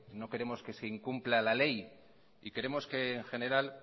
no queremos que se incumpla la ley y queremos que en general